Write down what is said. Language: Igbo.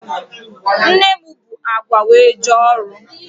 Nne m bu agwa wee jee ọrụ.